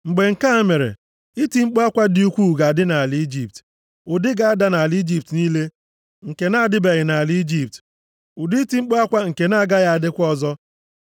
Mgbe nke a mere, iti mkpu akwa dị ukwuu ga-adị nʼala Ijipt, ụdị ga-ada nʼala Ijipt niile nke na-adịbeghị nʼala Ijipt, ụdị iti mkpu akwa nke na-agaghị adịkwa ọzọ.